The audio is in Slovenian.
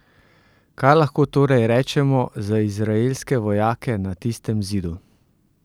Kaj lahko torej rečemo za izraelske vojake na tistem zidu?